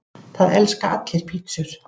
Það elska allir pizzur!